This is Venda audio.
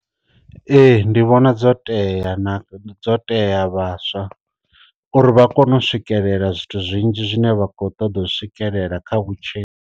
Ee ndi vhona dzo tea na dzo tea vhaswa uri vha kone u swikelela zwithu zwinzhi zwine vha kho ṱoḓa u swikelela kha vhutshilo.